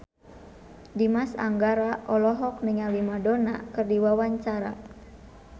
Dimas Anggara olohok ningali Madonna keur diwawancara